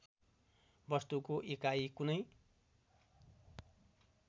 वस्तुको एकाइ कुनै